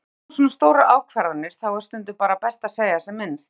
Þegar það koma svona stórar ákvarðanir þá er stundum bara best að segja sem minnst.